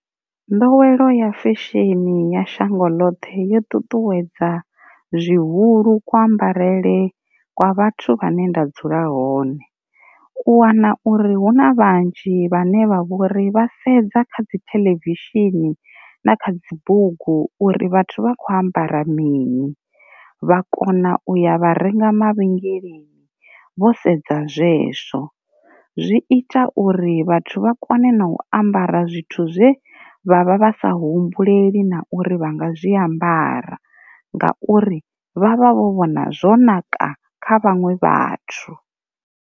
Nḓowelo ya fesheni ya shango ḽoṱhe yo ṱuṱuwedza zwihulu kuambarele kwa vhathu vhane nda dzula hone, u wana uri hu na vhanzhi vhane vha vhori vha sedza kha dzi theḽevishini na kha dzibugu uri vhathu vha kho ambara mini, vha kona u ya vha renga mavhengeleni vho sedza zwezwo. Zwi ita uri vhathu vha kone na u ambara zwithu zwe vhavha vhasa humbuleli na uri vha nga zwiambara ngauri vha vha vho vhona zwo naka kha vhaṅwe vhathu.